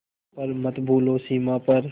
पर मत भूलो सीमा पर